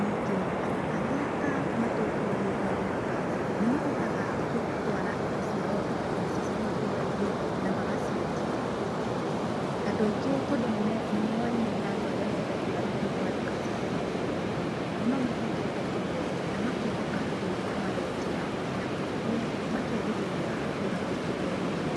Ningĩ, andũ arĩa a matũra-inĩ marĩmaga, nĩ mahotaga gũtwara indo ciao nduka-inĩ icia cia matũra-inĩ na magaciendia. Andũ aingĩ tondũ nĩ moaine na andũ arĩa mendagĩa thĩiniĩ wa nduka-inĩ cia matũra-inĩ, nĩ mamehokete mũno na makehoka indo irĩa marendia, na koguo, makerĩgĩrĩra atĩ matingĩhenio.